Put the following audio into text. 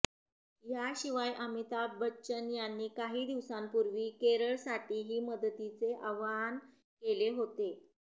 याशिवाय अमिताभ बच्चन यांनी काही दिवसांपूर्वी केरळसाठीही मदतीचे आवाहन केले होते